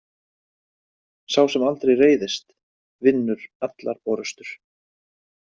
Sá sem aldrei reiðist vinnur allar orustur.